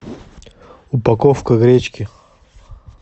упаковка гречки